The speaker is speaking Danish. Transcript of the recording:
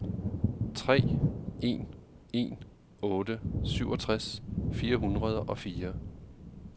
tre en en otte syvogtres fire hundrede og fire